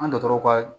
An dɔgɔtɔrɔw ka